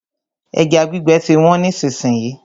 Ẹja gbígbẹ ti wọ́n nísìsiyìí.